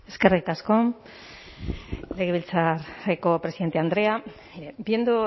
eskerrik asko legebiltzarreko presidente andrea viendo